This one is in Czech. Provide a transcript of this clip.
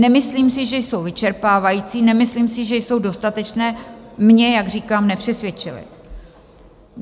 Nemyslím si, že jsou vyčerpávající, nemyslím si, že jsou dostatečné - mě, jak říkám, nepřesvědčily.